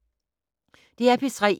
DR P3